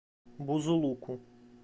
бузулуку